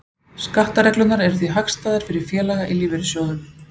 Skattareglurnar eru því hagstæðar fyrir félaga í lífeyrissjóðum.